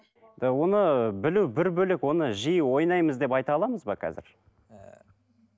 оны білу бір бөлек оны жиі ойнаймыз деп айта аламыз ба қазір